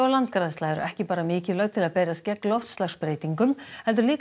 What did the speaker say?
landgræðsla eru ekki bara mikilvæg til að berjast gegn loftslagsbreytingum heldur líka